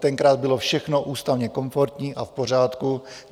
Tenkrát bylo všechno ústavně komfortní a v pořádku.